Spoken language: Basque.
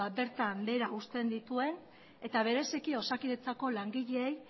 bertan behera uzten dituen eta bereziki osakidetzako langileei